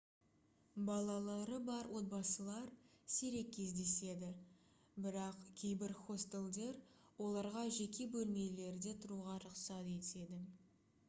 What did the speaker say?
балалары бар отбасылар сирек кездеседі бірақ кейбір хостелдер оларға жеке бөлмелерде тұруға рұқсат етеді